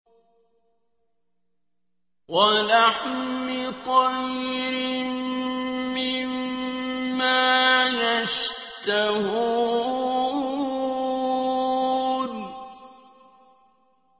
وَلَحْمِ طَيْرٍ مِّمَّا يَشْتَهُونَ